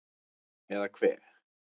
Eða hve